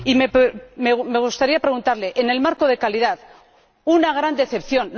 Y me gustaría preguntarle en el marco de calidad, una gran decepción.